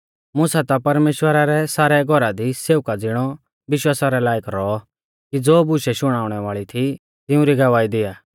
मुसा ता परमेश्‍वरा रै सारै घौरा दी सेवका ज़िणौ विश्वासा रै लायक रौऔ कि ज़ो बुशै शुणाउणै वाल़ी थी तिऊं री गवाही दिया